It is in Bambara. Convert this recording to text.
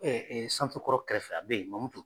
santu kɔrɔ kɛrɛfɛ a bɛ ye Mamutu